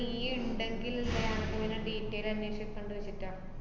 നീ ഇണ്ടെങ്കിൽ detail അന്വേഷിക്കാണ്ട് വച്ചിട്ടാ